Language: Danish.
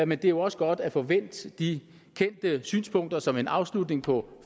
men det er jo også godt at få vendt de kendte synspunkter som en afslutning på